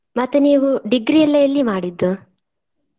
ಮತ್ತೆ ನೀವು degree ಎಲ್ಲ ಎಲ್ಲಿ ಮಾಡಿದ್ದು?